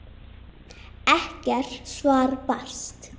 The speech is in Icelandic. Ekkert svar barst.